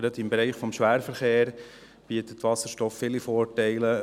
Gerade im Bereich des Schwerverkehrs bietet Wasserstoff viele Vorteile.